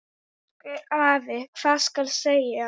Elsku afi, hvað skal segja.